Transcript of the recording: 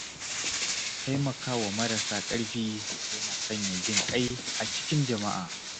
Taimaka wa marasa ƙarfi yana sanya jin ƙai a cikin jama’a.